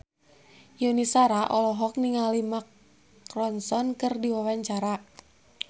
Yuni Shara olohok ningali Mark Ronson keur diwawancara